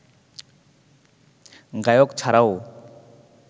গায়ক ছাড়াও